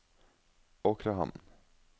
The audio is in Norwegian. Åkrehamn